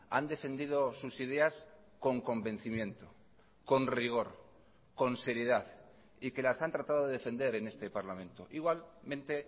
han defendido sus ideas con convencimiento con rigor con seriedad y que las han tratado de defender en este parlamento igualmente